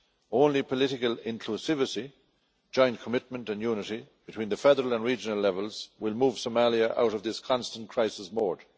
Only political inclusivity, joint commitment and unity between the federal and regional levels will move Somalia out of this constant crisis mode.